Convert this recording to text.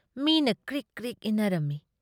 ꯃꯤꯅ ꯀ꯭ꯔꯤꯛ-ꯀ꯭ꯔꯤꯛ ꯏꯟꯅꯔꯝꯃꯤ ꯫